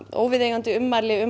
óviðeigandi ummæli um